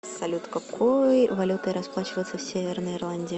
салют какой валютой расплачиваются в северной ирландии